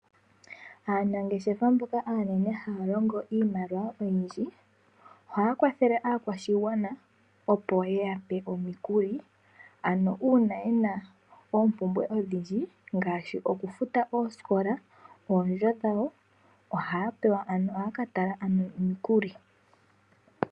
Aanageshefa mboka aanene haya longo iimaliwa oyindji ohaya kwathele aakwashigwana opo yeya pe omikuli ano uuna yena oompumbwe odhindji ngaahi okufuta oosikola, oondjo dhawo haya ka tala ano omikuli.